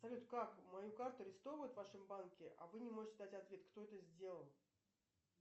салют как мою карту арестовывают в вашем банке а вы не можете дать ответ кто это сделал